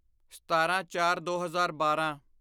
ਸਤਾਰਾਂਚਾਰਦੋ ਹਜ਼ਾਰ ਬਾਰਾਂ